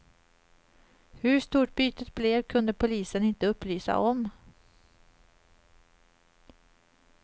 Hur stort bytet blev kunde polisen inte upplysa om.